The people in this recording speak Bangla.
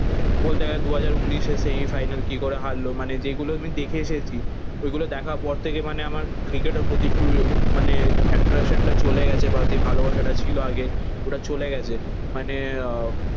বলতে গেলে দু হাজার উনিশে সেমিফাইনাল কি করে হারলো? মানে যেগুলো আমি দেখে এসেছি ওইগুলো দেখার পর থেকে মানে আমার ক্রিকেটের প্রতি একটু মানে এট্রাকশন টা চলে গেছে বা যে ভালোবাসাটা ছিল আগে ওটা চলে গেছে। মানে আহ